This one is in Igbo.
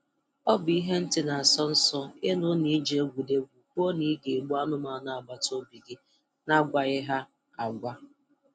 Ọ bụ ihe ntị na-asọ nsọ ịnụ na I ji egwuregwu kwuo na ị ga-egbu anụmanụ agbataobi gị na-agwaghị ha agwa